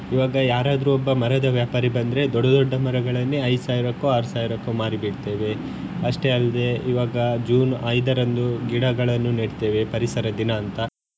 ಈವಾಗ ಯಾರಾದ್ರೂ ಒಬ್ಬ ಮರದ ವ್ಯಾಪಾರಿ ಬಂದ್ರೆ ದೊಡ್ಡ ದೊಡ್ಡ ಮರಗಳನ್ನೇ ಐದು ಸಾವಿರಕ್ಕೊ ಆರ್ ಸಾವಿರಕ್ಕೊ ಮಾರಿಬಿಡ್ತೇವೆ ಅಷ್ಟೇ ಅಲ್ದೇ ಈವಾಗ June ಐದರಂದು ಗಿಡಗಳನ್ನು ನೆಡ್ತೇವೆ ಪರಿಸರ ದಿನ ಅಂತ.